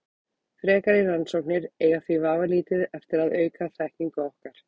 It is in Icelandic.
Frekari rannsóknir eiga því vafalítið eftir að auka þekkingu okkar.